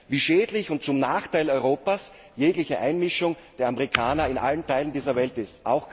wie schädlich und zum Nachteil Europas jegliche Einmischung der Amerikaner in allen Teilen dieser Welt ist.